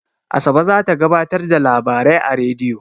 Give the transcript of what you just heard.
Asabe za ta gabatar da labarai a rediyo.